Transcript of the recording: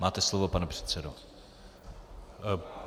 Máte slovo, pane předsedo.